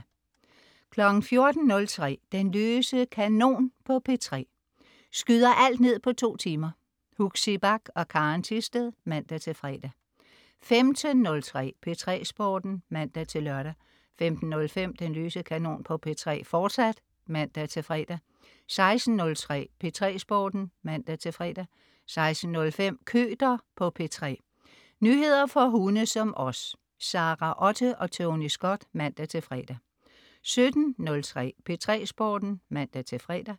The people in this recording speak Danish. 14.03 Den løse kanon på P3. Skyder alt ned på 2 timer. Huxi Bach og Karen Thisted (man-fre) 15.03 P3 Sporten (man-lør) 15.05 Den løse kanon på P3, fortsat (man-fre) 16.03 P3 Sporten (man-fre) 16.05 Køter på P3. Nyheder for hunde som os. Sara Otte og Tony Scott (man-fre) 17.03 P3 Sporten (man-fre)